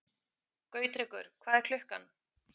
Gautrekur, hvað er klukkan?